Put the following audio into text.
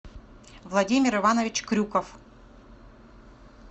владимир иванович крюков